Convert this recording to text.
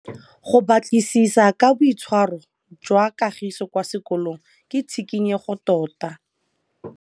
Go batlisisa ka boitshwaro jwa Kagiso kwa sekolong ke tshikinyêgô tota.